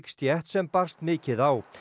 stétt sem barst mikið á